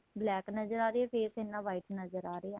black ਨਜ਼ਰ ਆ ਰਹੀ ਏ ਤੇ face ਇੰਨਾ white ਨਜ਼ਰ ਆ ਰਿਹਾ